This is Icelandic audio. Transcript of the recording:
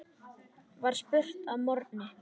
var spurt að morgni.